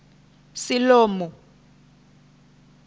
siḽomu